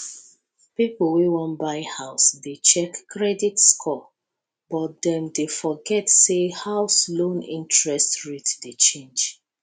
pipo wey wan buy house dey check credit score but dem dey forget say house loan interest rate dey change